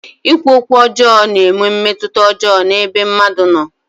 Ikwu okwu ọjọọ na-enwe mmetụta ọjọọ n'ebe mmadụ nọ.